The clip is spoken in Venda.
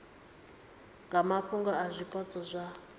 nga mafhungo a zwipotso zwa